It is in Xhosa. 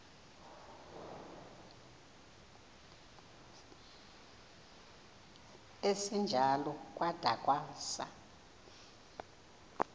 esinjalo kwada kwasa